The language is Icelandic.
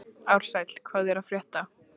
Ársæl, hvað er að frétta?